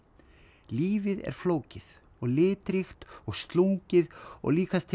lífið er flókið og litríkt og slungið og líkast til